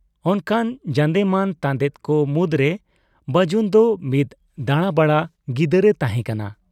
ᱚᱱᱠᱟᱱ ᱡᱟᱸᱫᱮᱢᱟᱱ ᱛᱟᱸᱫᱮᱠᱚ ᱢᱩᱫᱽᱨᱮ ᱵᱟᱡᱩᱱ ᱫᱚ ᱢᱤᱫ ᱫᱟᱸᱲᱟᱵᱟᱲᱟ ᱜᱤᱫᱟᱹᱨ ᱮ ᱛᱟᱦᱮᱸ ᱠᱟᱱᱟ ᱾